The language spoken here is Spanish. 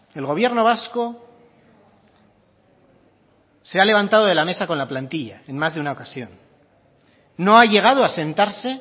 el gobierno vasco se ha levantado de la mesa con la plantilla en más de una ocasión no ha llegado a sentarse